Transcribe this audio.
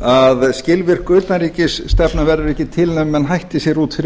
að skilvirk utanríkisstefna verður ekki til nema menn hætti sér út fyrir